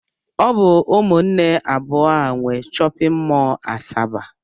Ọ bụ ụmụnne abụọ a nwe shọpịn mọl Asaba